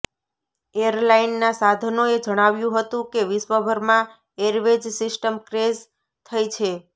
એરલાઇનનાં સાધનોએ જણાવ્યું હતું કે વિશ્વભરમાં એરવેઝ સિસ્ટમ ક્રેશ થઈ છે